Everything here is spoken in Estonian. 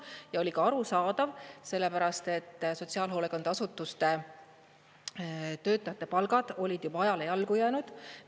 Ja oli ka arusaadav, sellepärast et sotsiaalhoolekandeasutuste töötajate palgad olid juba ajale jalgu jäänud.